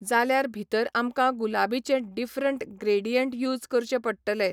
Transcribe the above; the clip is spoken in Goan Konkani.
जाल्यार भितर आमकां गुलाबीचे डिफ्रंट ग्रेडियंट यूज करचे पडटले.